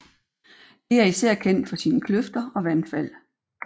Det er især kendt for sine kløfter og vandfald